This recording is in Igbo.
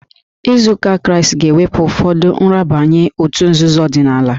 Iso ụzọ Kraịst ga-ewepụ ụfọdụ nrabaye òtù nzuzo ọdịnala